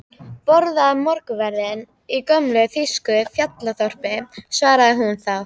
Borða morgunverð í gömlu þýsku fjallaþorpi, svaraði hún þá.